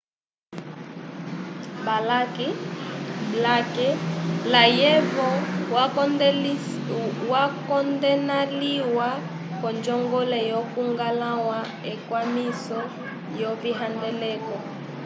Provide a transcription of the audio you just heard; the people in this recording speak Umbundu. blake layevo wakondenalĩwa k'onjongole yokuñgwãla ekwamiso lyovihandeleko